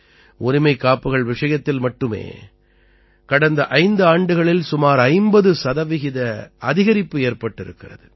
உரிமைக்காப்புகள் விஷயத்தில் மட்டுமே கடந்த ஐந்து ஆண்டுகளில் சுமார் 50 சதவீத அதிகரிப்பு ஏற்பட்டிருக்கிறது